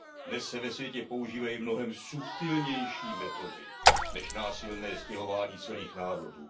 Dnes se ve světě používají mnohem subtilnější metody než násilné stěhování celých národů.